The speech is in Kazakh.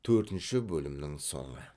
төртінші бөлімнің соңы